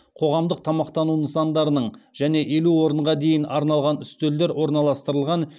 қоғамдық тамақтану нысандарының және елу орынға дейін арналған үстелдер орналастырылған